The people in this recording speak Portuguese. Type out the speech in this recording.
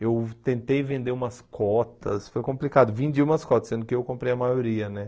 Eu tentei vender umas cotas, foi complicado, vendi umas cotas, sendo que eu comprei a maioria, né?